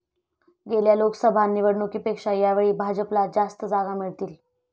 गेल्या लोकसभा निवडणुकीपेक्षा यावेळी भाजपला जास्त जागा मिळतील.